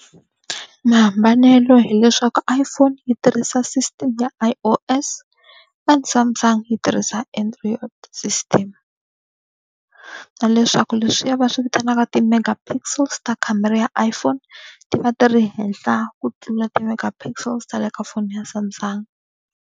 Mahambanelo hileswaku iPhone yi tirhisa system ya I_O_S and Samsung yi tirhisa Android system. Na leswaku leswiya va swi vitanaka ti-mega pixels ta khamera ya iPhone ti va ti ri henhla ku tlula ti-mega pixels ta le ka foni ya Samsung.